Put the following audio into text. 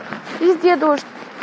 везде дождь